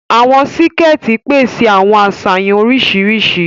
Awọn síkẹ̀ẹ̀tì pèsè àwọn aṣayanw oríṣiríṣi.